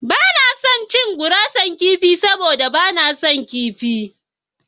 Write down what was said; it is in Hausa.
Ba na son gurasar kifi saboda ba na son kifi.